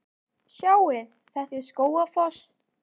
Sjáiði! Þetta er Skógafoss.